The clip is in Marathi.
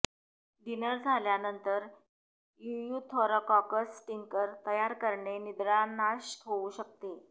डिनर झाल्यानंतर इयूथरोकॉकस टिंकर तयार करणे निद्रानाश होऊ शकते